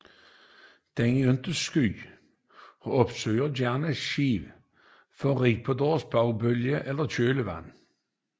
Den er ikke sky og opsøger gerne skibe for at ride på deres bovbølge eller kølvand